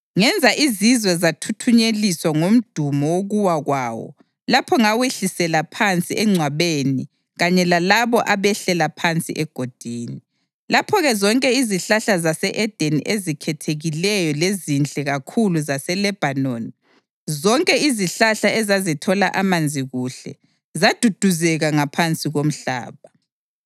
Ngenza izizwe zathuthunyeliswa ngumdumo wokuwa kwawo lapha ngawehlisela phansi engcwabeni kanye lalabo abehlela phansi egodini. Lapho-ke zonke izihlahla zase-Edeni, ezikhethekileyo lezinhle kakhulu zaseLebhanoni, zonke izihlahla ezazithola amanzi kuhle, zaduduzeka ngaphansi komhlaba.